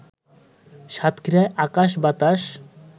সাতক্ষীরার আকাশ-বাতাস